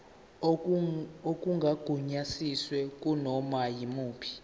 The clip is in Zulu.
okungagunyaziwe kunoma yimuphi